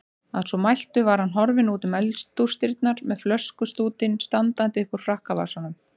Að svo mæltu var hann horfinn útum eldhúsdyrnar með flöskustútinn standandi uppúr frakkavasanum.